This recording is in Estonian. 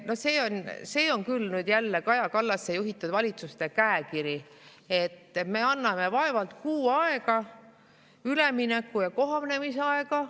No see on küll nüüd jälle Kaja Kallase juhitud valitsuste käekiri, et me anname vaevalt kuu aega ülemineku‑ ja kohanemisaega.